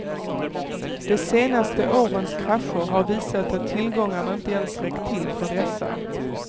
De senaste årens krascher har visat att tillgångarna inte ens räckt till för dessa.